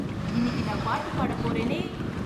இன்னிக்கி நான் பாட்டு பாட போறேனே.